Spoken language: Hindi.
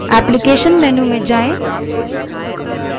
एप्लीकेशन menu applications menu में जाएँ